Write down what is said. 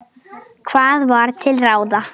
Hvað var til ráða?